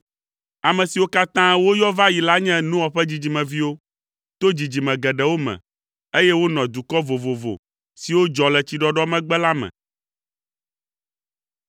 Ame siwo katã woyɔ va yi la nye Noa ƒe dzidzimeviwo, to dzidzime geɖewo me, eye wonɔ dukɔ vovovo siwo dzɔ le tsiɖɔɖɔ megbe la me.